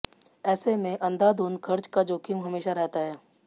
ऐसे में अंधाधुंध खर्च का जोखिम हमेशा रहता है